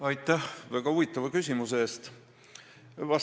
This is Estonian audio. Aitäh väga huvitava küsimuse eest!